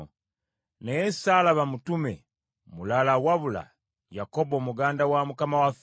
Naye ssaalaba mutume mulala wabula Yakobo muganda wa Mukama waffe.